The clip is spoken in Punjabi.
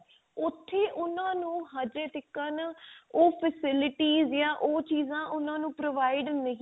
ਉਥੇ ਉਹਨਾਂ ਨੂੰ ਹਜੇ ਤੀਕ ਨਾਂ ਉਹ facilities ਜਾਂ ਉਹ ਚੀਜ਼ਾਂ ਉਹਨਾਂ ਨੂੰ provide ਨਹੀਂ